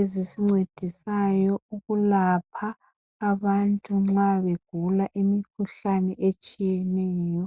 ezisincedisayo ukulapha abantu nxa begula imikhuhlane etshiyeneyo.